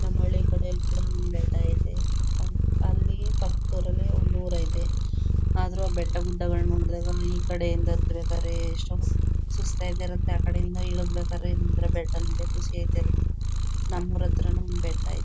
ನಮ್ ಹಳ್ಳಿ ಕಡೆ ಕೂಡ ಒಂದ ಬೆಟ್ಟ ಐತೆ. ಅವ್ ಅಲ್ಲಿ ಪಕ್ಕದಲ್ಲಿ ಒಂದೂರ್ ಐತೆ. ಆದ್ರೂ ಆ ಬೆಟ್ಟಗುಡ್ಡಗಳ್ ನೋಡಿದಾಗ ಈಕಡೆ ಇಂದ ಹತ್ಬೇಕಾದ್ರೆ ಎಷ್ಟೋ ಸುಸ್ತ್ ಅಯ್ತಿತಿರತ್ತೆ. ಆಕಡೆ ಇಂದ ಇಳಿಬೇಕಾದ್ರೆ ಒಂತರ ಬೆಟ್ಟ ನೋಡಿ ಖುಷಿ ಅಯ್ತಿರತ್ತೆ ನಮ್ ಊರ್ ಹತ್ರನು ಒಂದ್ ಬೆಟ್ಟ--